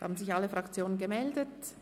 Es haben sich alle Fraktionen gemeldet.